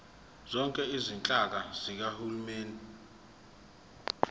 zonke izinhlaka zikahulumeni